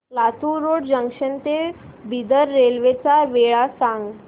Latur road junction ते Bidar railway च्या वेळा दाखव